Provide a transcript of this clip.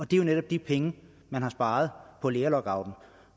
det er jo netop de penge man har sparet på lærerlockouten